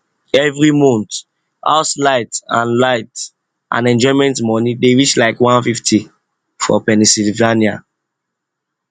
every month house light and light and enjoyment money dey reach like 150 for pennsylvania